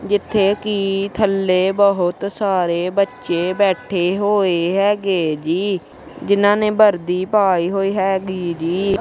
ਜਿੱਥੇ ਕੀ ਥੱਲੇ ਬਹੁਤ ਸਾਰੇ ਬੱਚੇ ਬੈਠੇ ਬੋਹੇ ਹੈਗੇ ਜੀ ਜਿਹਨਾਂ ਨੇ ਵਰਦੀ ਪਈ ਹੋਈ ਹੈਗੀ ਜੀ।